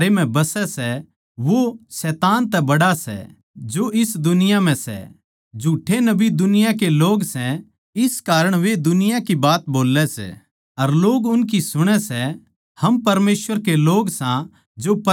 हम परमेसवर के लोग सां जो परमेसवर नै जाणै सै वो म्हारी सुणै सै जो परमेसवर नै न्ही जाणता वो म्हारी न्ही सुणता इस ढाळ हम सच की आत्मा अर भ्रम की आत्मा नै पिच्छाण लेवां सां